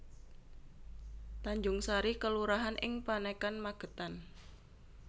Tanjungsari kelurahan ing Panekan Magetan